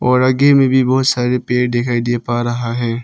और आगे में भी बहुत सारे पेड़ दिखाई दे पा रहा है।